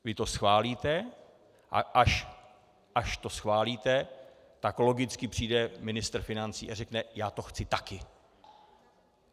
Vy to schválíte, a až to schválíte, tak logicky přijde ministr financí a řekne "já to chci taky".